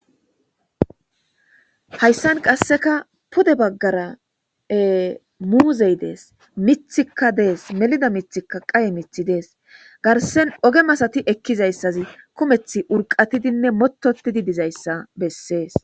Hayssan qasseka pode baggarae muuzey dees mithikka dees melida mithikka qaye mithi dees garsen oge masati ekkizayssazi kumeth urqatidinne mototidi dizayssa bessees.